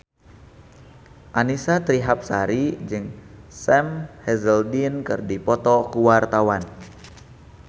Annisa Trihapsari jeung Sam Hazeldine keur dipoto ku wartawan